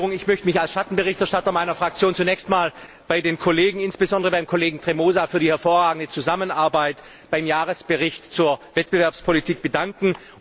Ich möchte mich als Schattenberichterstatter meiner Fraktion zunächst einmal bei den Kollegen, insbesondere beim Kollegen Tremosa, für die hervorragende Zusammenarbeit beim Jahresbericht zur Wettbewerbspolitik bedanken.